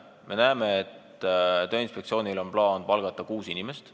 Me näeme, et Tööinspektsioonil on plaan palgata kuus inimest.